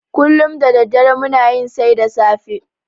Kullum da daddare muna yin sai da safe.